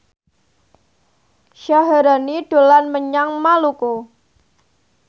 Syaharani dolan menyang Maluku